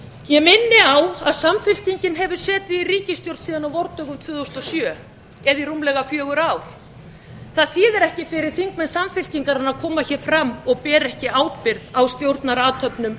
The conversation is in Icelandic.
ég minni á að samfylkingin hefur setið í ríkisstjórn síðan á vordögum tvö þúsund og sjö eða í rúmlega fjögur ár það þýðir ekkert fyrir þingmenn samfylkingarinnar að koma hér fram og bera ekki ábyrgð á stjórnarathöfnum